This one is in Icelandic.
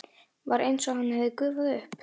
Var einsog hann hefði gufað upp.